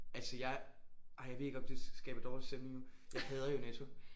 Altså jeg ej jeg ved ikke om det skaber dårlig stemning nu jeg hader jo Netto